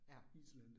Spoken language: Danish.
Ja